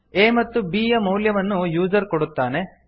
a ಮತ್ತು b ಯ ಮೌಲ್ಯವನ್ನು ಯೂಸರ್ ಕೊಡುತ್ತಾನೆ